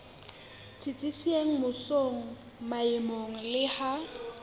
tsitsitseng mmusong maemong le ha